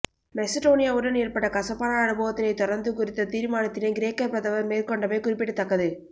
மெசடோனியாவுடன் ஏற்பட்ட கசப்பான அனுபவத்தினைத் தொடர்ந்து குறித்த தீர்மானத்தினை கிரேக்க பிரதமர் மேற்கொண்டமை குறிப்பிடத்தக்கது